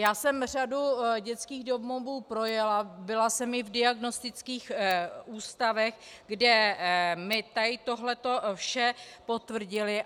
Já jsem řadu dětských domovů projela, byla jsem i v diagnostických ústavech, kde mi tohle vše potvrdili.